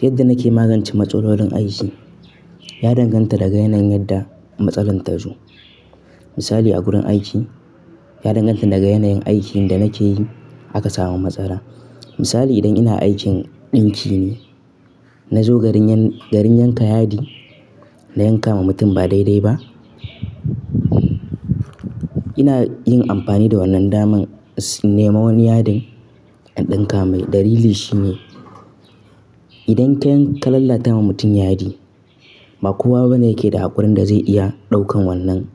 Yadda nake magance matsalolin aiki ya danganta daga yanayin yadda matsalar ta zo. Misali a wurin aiki ya danganta daga yanayin aikin da nake yi aka samu matsala. Misali idan ina aikin ɗinki ne, na zo garin yanka yadi, na yanka wa mutum ba daidai ba. Ina yin amfani da wannan damar in nema wani yadin in ɗinka mai. Dalili shi ne idan ka lalata ma mutum yadi, ba kowa bane yake da haƙurin da zai iya ɗaukar wannan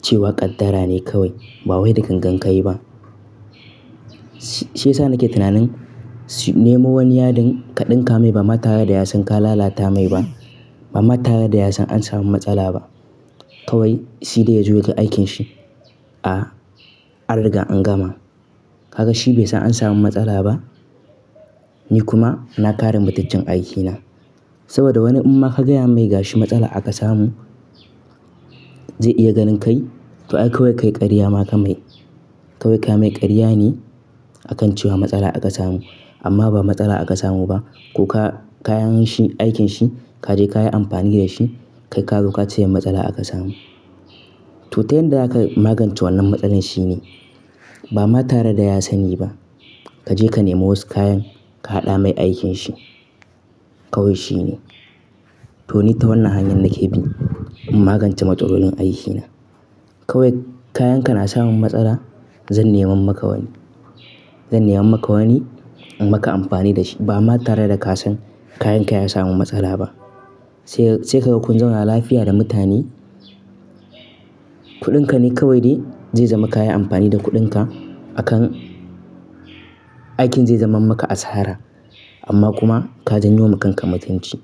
cewa ƙaddara ne kawai ba wai da gangan ka yi ba. Si, shi yasa nake tunanin nemo wani yadin ka ɗinka mai ba ma tare da ya san ka lalata mai ba. Ba ma tare da ya san an samu matsala ba. Kawai shi dai ya juya ga aikinsa a an riga an gama. Haka shi bai san an samu matsala ba, ni kuma na kare matuccen aikina. Saboda wani amma ka gaya mai gashi matsala aka samu zai iya ganin kai to ai kawai kai ƙarya maka mai. Kawai ka mai ƙarya ne a kan cewa matsala aka samu amma ba matsala aka samu ba. Ko ka kayan shi, aikin shi kaje ka yi amfani da shi. Kai ka zo ka ce masa matsala aka samu. To, tayin da aka magance wannan matsalar shi ne ba ma tare da ya sani ba kaje ka nemo wasu kayan ka haɗa mai aikin shi kawai shi ne. To, ni ta wannan hanyar nake bi in magance matsalolin aikina. Kawai kayan ka na samun matsala zan nemo maka wani. Zan nemo maka wani in maka amfani da shi ba ma tare da ka san kayan ka ya samu matsala ba. Sai, sai ka ga kunzauna lafiya da mutane. Kuɗinka ne kawai dai zai zama ka yi amfani da kuɗinka a kan aikin zai zama maka asara amma kuma ka janyo wa kanka matunci.